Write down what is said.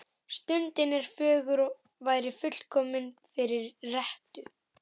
Stundin er fögur og væri fullkomin fyrir rettu.